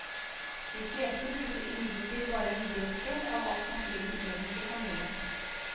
De fleste bruker imidlertid bare en brøkdel av alt maskinen egentlig kan gjøre.